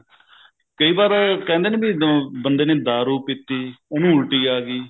ਕਈ ਵਾਰ ਕਹਿੰਦੇ ਨੀ ਵੀ ਬੰਦੇ ਨੇ ਦਾਰੂ ਪੀਤੀ ਉਹਨੂੰ ਉਲਟੀ ਆ ਗਈ